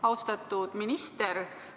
Austatud minister!